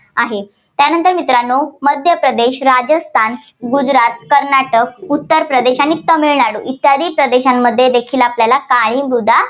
आहे. त्यानंतर मित्रांनो मध्य प्रदेश, राजस्थान, गुजरात, कर्नाटक, उत्तर प्रदेश आणि तामिळनाडू इत्यादी प्रदेशांमध्ये देखी काळी मृदा